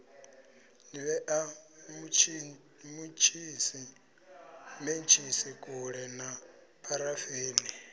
vhea mentshisi kule na pharafeni